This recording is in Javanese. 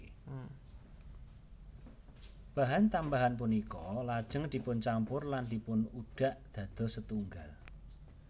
Bahan tambahan punika lajeng dipuncampur lan dipunudhak dados setunggal